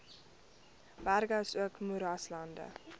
berge asook moeraslande